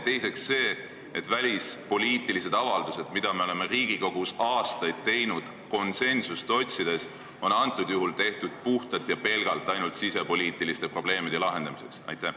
Teiseks, kas on normaalne, et kui me välispoliitilisi avaldusi oleme Riigikogus aastaid teinud konsensust otsides, siis antud juhul on see tehtud puhtalt ja pelgalt ainult sisepoliitiliste probleemide lahendamiseks?